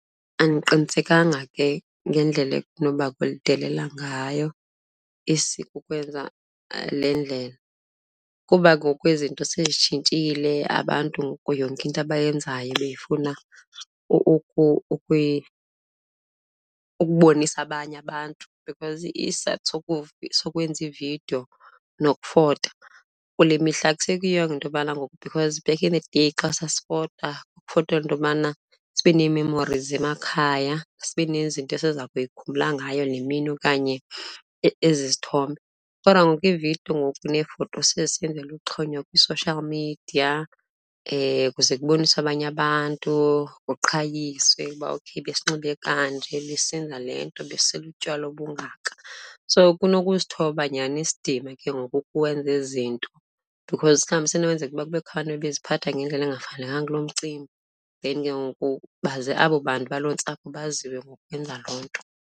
Andiqinisekanga ke ngendlela enoba kulidelela ngayo isiko ukwenza le ndlela kuba ngoku izinto sezitshintshile. Abantu ngoku yonke into abayenzayo beyifuna ukubonisa abanye abantu because isizathu sokwenza iividiyo nokufota kule mihla akuseyiyingo into yobana ngoku because back in the day ke xa sesifota, sasifotela into yobana sibe nee-memories emakhaya, sibe nezinto esiza kuyikhumbula ngayo le mini okanye ezi izithombe. Kodwa ngoku iividiyo ngoku neefoto sezisenzelwa uxhonywa kwi-social media kuze kuboniswe abanye abantu, kuqhayiswe ukuba okay besinxibe kanje, sisenza le nto, besisela utywala bungaka. So kunokusithoba nyhani isidima ke ngoku ukuwenza ezi zinto because mhlawubi isenokwenzeka ukuba kubekho abantu bebeziphatha ngendlela engafanelekanga kulo mcimbi then ke ngoku baze abo bantu baloo ntsapho baziwe ngokwenza loo nto.